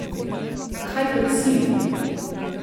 Kaj pa cilj?